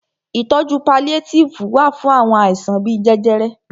Ìtọjú paliétífù wà fún àwọn àìsàn bíi jẹjẹrẹ.